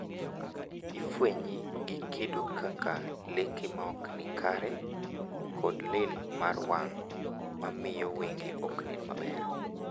Ifwenye gi kido kaka leke maokni kare kod lil mar wang`,mamiyo wenge oknen maber.